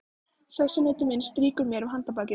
Sessunautur minn strýkur mér um handarbakið.